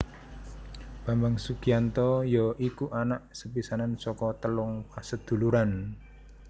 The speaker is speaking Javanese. Bambang Sugianto ya iku anak sepisanan saka telung paseduluran